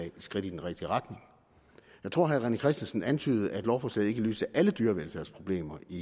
et skridt i den rigtige retning jeg tror at herre rené christensen antydede at lovforslaget ikke løser alle dyrevelfærdsproblemer i